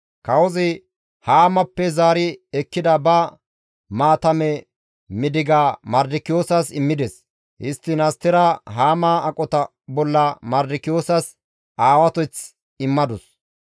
Kawozi Haamappe zaari ekkida ba maatame midigaza Mardikiyoosas immides. Histtiin Astera Haama aqota bolla Mardikiyoosas aawateth immadus.